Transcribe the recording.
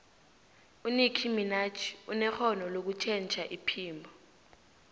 unickie minaj unerhono lokutjhentjha iphimbo